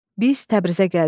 Biz Təbrizə gəldik.